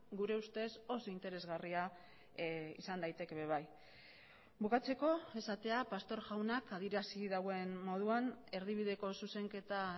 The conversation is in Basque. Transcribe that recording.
gure ustez oso interesgarria izan daiteke ere bai bukatzeko esatea pastor jaunak adierazi duen moduan erdibideko zuzenketa